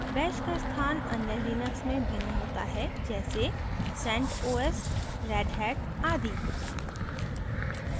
bash का स्थान अन्य लिनक्स में भिन्न होता है जैसे centos redhat आदि